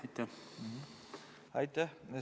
Aitäh!